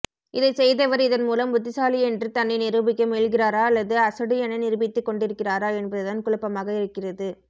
இதைச்செய்தவர் இதன்மூலம் புத்திசாலி என்று தன்னை நிரூபிக்க முயல்கிறாரா அல்லது அசடு என நிரூபித்துக்கொண்டிருக்கிறாரா என்பதுதான் குழப்பமாக இருக்கிறது